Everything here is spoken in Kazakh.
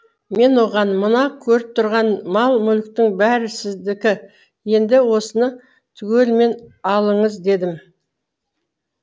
мен оған мына көріп тұрған мал мүліктің бәрі сіздікі енді осыны түгелімен алыңыз дедім